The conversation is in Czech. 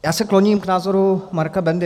Já se kloním k názoru Marka Bendy.